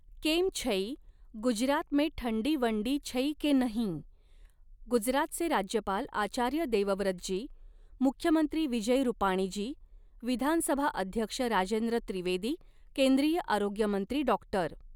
केम छै, गुजरात में ठण्डी वण्डी छै के नहीं, गुजरातचे राज्यपाल आचार्य देवव्रत जी, मुख्यमंत्री विजय रुपाणीजी, विधानसभा अध्यक्ष राजेंद्र त्रिवेदी, केंद्रीय आरोग्यमंत्री डॉक्टर.